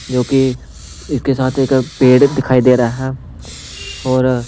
जो कि इसके साथ एक पेड़ दिखाई दे रहा है और--